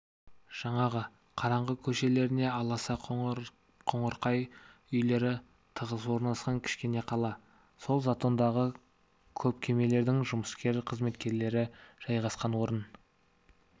жаңағы қараңғы көшелеріне аласа қоңырқай үйлері тығыз орналасқан кішкене қала сол затондағы көп кемелердің жұмыскер қызметкерлері жайғасқан орын